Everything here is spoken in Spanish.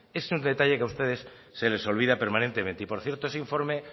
esto es un detalle que a ustedes se les olvida permanentemente por cierto ese informe